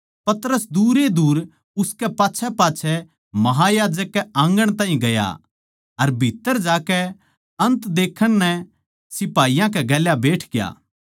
पतरस दूर ए दूर उसकै पाच्छैपाच्छै महायाजक कै आँगण ताहीं गया अर भीत्त्तर जाकै अन्त देखण नै सिपाहियाँ कै गेल्या बैठग्या